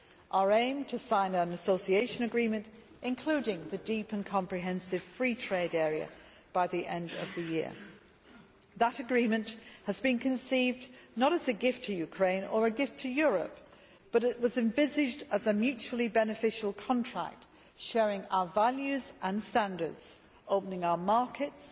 Our aim was to sign an association agreement, including a deep and comprehensive free trade area, by the end of the year. That agreement has been conceived not as a gift to Ukraine, or a gift to Europe, but as a mutually beneficial contract sharing our values and standards, opening our markets,